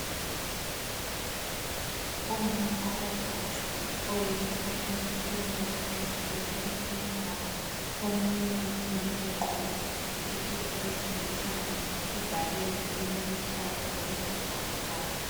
Omama abathathu oyedwa uhlezi phez'kombheda, othwele umntwana, omunye umile ugqoke isikipa esilithanga ibhakede eliluhlaza okwesibhakabhaka.